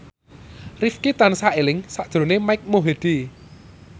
Rifqi tansah eling sakjroning Mike Mohede